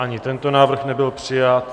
Ani tento návrh nebyl přijat.